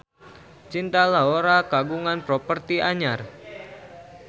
Cinta Laura kagungan properti anyar